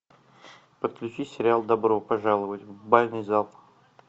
подключи сериал добро пожаловать в бальный зал